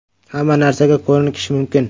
Hamma narsaga ko‘nikish mumkin.